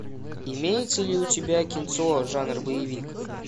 имеется ли у тебя кинцо жанр боевик